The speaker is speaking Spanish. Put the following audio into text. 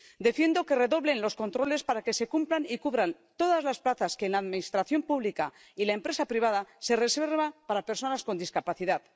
Defiendo que redoblen los controles para que cumplan y cubran todas las plazas que en la Administración pública y la empresa privada se reservan para personas con discapacidad.